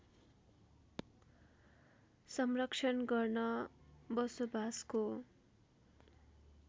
संरक्षण गर्न बसोबासको